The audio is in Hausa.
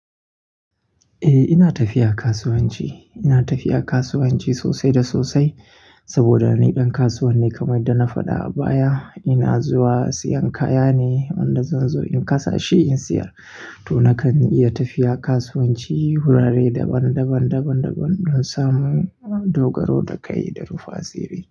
Eh ina tafiya kasuwanci. Ina tafiya kasuwanci sosai da sosai saboda na yi ɗan kasuwane kamar dai na faɗa a baya. Ina zuwa siyan kaya ne, wanda zan zo in kasa shi in sayar. To nakan iya tafiya kasuwanci wurare daban daban daban don samu dogaro da kai da rufa tsire.